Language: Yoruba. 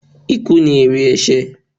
Ikú ni èrè ẹ̀sẹ̀.